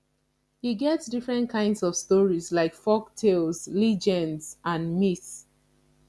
e get different kinds of stories like folktales legends and myths